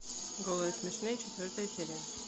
голые и смешные четвертая серия